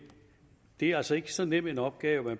det er altså ikke så nem en opgave at